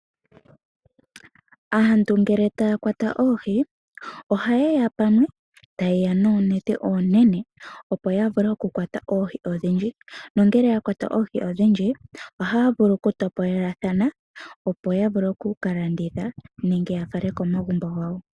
Aantu ngele taya kwata oohi ohaye ya pamwe, taye ya noonete oonene opo ya vule oku kwata oohi odhindji, nongele ya kwata oohi odhindji ohaya vulu okutopolelathana opo ya vule oku ka landitha nenge ya fale komagumbo gawo.